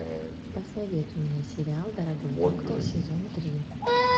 посоветуй мне сериал дорогой доктор сезон три